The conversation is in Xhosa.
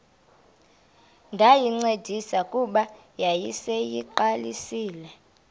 ndayincedisa kuba yayiseyiqalisile